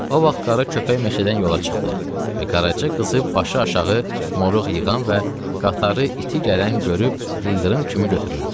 O vaxt qara köpək meşədən yola çıxdı və Qaraca qızı başı aşağı moruq yığan və qatarı iti gələn görüb ildırım kimi götürüldü.